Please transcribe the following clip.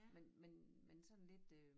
Men men men sådan lidt øh